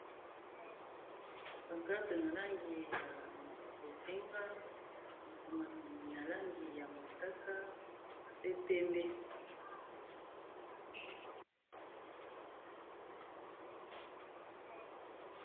Bankarte na langi ya bozenga makomami na langi ya mosaka pe pembe.